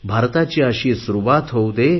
भारताची अशी सुरुवात होऊ दे